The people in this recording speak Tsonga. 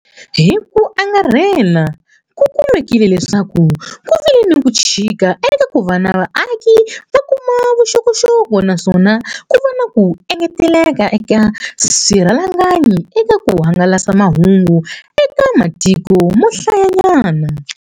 Hi ku angarhela, ku kumekile leswaku ku vile ni ku chika eka ku va vaaki va kuma vuxokoxoko naswona ku va na ku engeteleleka eka swirhalanganyi eka ku hangalasa mahungu eka ma tiko mo hlayanyana.